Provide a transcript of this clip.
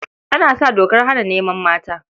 An sa dokar hana neman mata.